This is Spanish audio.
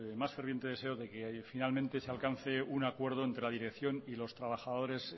más ferviente deseo de que finalmente se alcance un acuerdo entre la dirección y los trabajadores